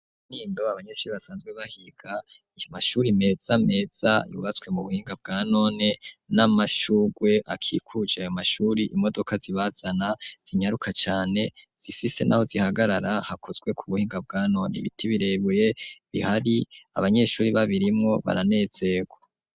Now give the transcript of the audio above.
Mu kinindo abanyeshuri basanzwe bahiga ku mashuri meza meza yubatswe mu buhinga bwanone n'amashurwe akikuje ayo mashuri, imodoka zibazana zinyaruka cane zifise naho zihagarara hakozwe ku buhinga bwanone, ibiti birebire bihari abanyeshuri babirimwo baranezerwa.